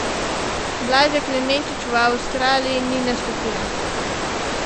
Blaža Klemenčič v Avstraliji ni nastopila.